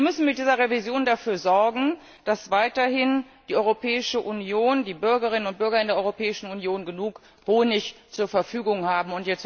Wir müssen mit dieser Revision dafür sorgen, dass weiterhin die Bürgerinnen und Bürger in der Europäischen Union genug Honig zur Verfügung haben.